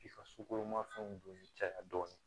K'i ka sukoromafɛnw don caya dɔɔnin